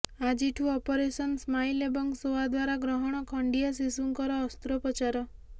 ଆଜିୁଠୁ operation smile ଏବଂ ସୋଆ ଦ୍ବାରା ଗ୍ରହଣ ଖଣ୍ଡିଆ ଶିଶୁଙ୍କର ଅସ୍ତ୍ରୋପଚାର